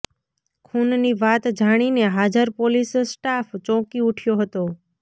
ખૂનની વાત જાણીને હાજર પોલીસ સ્ટાફ ચોંકી ઊઠ્યો હતો